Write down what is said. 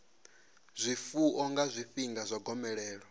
zwifuwo nga zwifhinga zwa gomelelo